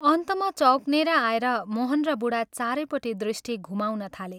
अन्तमा चौकनेर आएर मोहन र बूढा चारैपट्टि दृष्टि घुमाउन थाले।